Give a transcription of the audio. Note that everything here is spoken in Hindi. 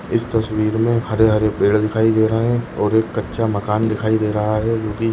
इस तस्वीर में हरे हरे पेड़ दिखाई दे रहे हैं और एक कच्चा मकान दिखाई दे रहा है जो कि--